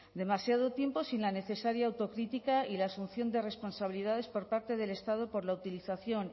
demasiado tiempo sin la necesaria autocrítica y la asunción de responsabilidades por parte del estado por la utilización